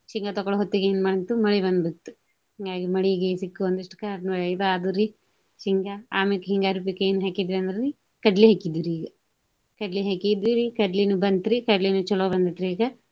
ಶೇಂಗಾ ತಕ್ಕೋಳೋ ಹೊತ್ತಿಗೆ ಏನ ಮಾಡ್ತು ಮಳಿ ಬಂದ ಬಿಟ್ತ. ಹಿಂಗಾಗೆ ಮಳಿಗೆ ಸಿಕ್ಕ ಒಂದಿಷ್ಟು ಇದ ಆದುರಿ ಶೇಂಗಾ. ಆಮ್ಯಾಕ ಹಿಂಗಾರಿ ಪೀಕ ಏನ ಹಾಕಿದ್ದು ಅಂದ್ರಿ ಕಡ್ಲಿ ಹಾಕಿದ್ದುರಿ ಈಗ. ಕಡ್ಲಿ ಹಾಕಿದ್ದುರಿ ಕಡ್ಲಿನು ಬಂತ್ರಿ. ಕಡ್ಲಿನು ಚೊಲೋ ಬಂದೆತ್ರಿ ಈಗ.